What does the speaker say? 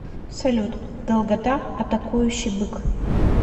салют долгота атакующий бык